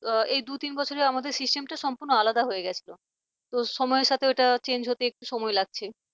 এই দু তিন বছর আমাদের system টা সম্পূর্ণ আলাদা হয়ে গিয়েছিল তো সময়ের সঙ্গে ওটা change হতে একটু সময় লাগছে।